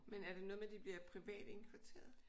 Men er det noget med at de bliver privat indkvarteret?